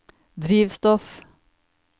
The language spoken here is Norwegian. drivstoff